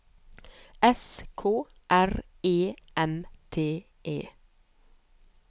S K R E M T E